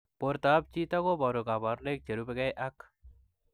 Portoop chitoo kobaruu kabarunaik cherubei ak